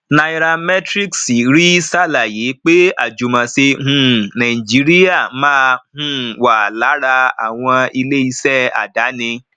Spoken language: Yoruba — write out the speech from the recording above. nairametrics rí ṣàlàyé pé ajumose um nigeria má um wá lára àwọn ilé ìṣe àdáni